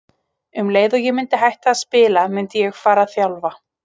Um leið og ég myndi hætta að spila myndi ég fara að þjálfa.